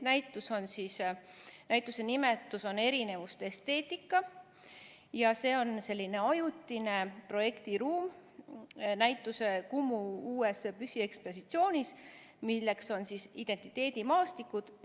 Näituse nimetus on "Erinevuste esteetika" ja see on selline ajutine projektiruum Kumu uues püsiekspositsioonis "Identiteedimaastikud.